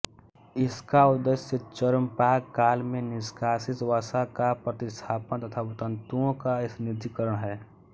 इसका उद्देश्य चर्मपाक काल में निष्कासित वसा का प्रतिस्थापन तथा तंतुओं का स्निग्धीकरण है